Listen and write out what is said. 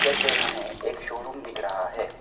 इधर पे हमें एक शोरूम दिख रहा है।